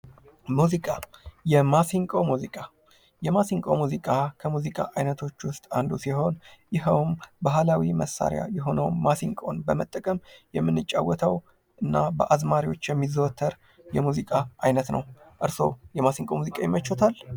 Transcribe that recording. ሙዚቃ የማሲንቆ ሙዚቃ የማሲንቆ ሙዚቃ ከሙዚቃ ዓይነቶች ውስጥ አንዱ ሲሆን ፤ ይኸውም ባህላዊ መሳሪያ የሆነው ማሲንቆውን በመጠቀም የምንጫወተው እና በአዝማሪዎች የሚዘወተር የሙዚቃ ዓይነት ነው። እርስዎ የማሲንቆ ሙዚቃ ይመቹዎታል?